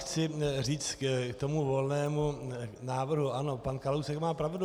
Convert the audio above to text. Chci říct k tomu Volného návrhu: Ano, pan Kalousek má pravdu.